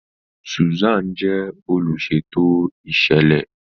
Susan jẹ oluṣeto iṣẹlẹ.